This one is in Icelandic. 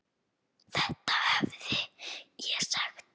Þetta hefði ég sagt.